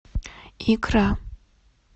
икра